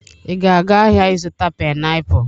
ị ga-aga ahịa ịzụta painiapulu?